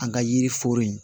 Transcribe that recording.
An ka yiri foro in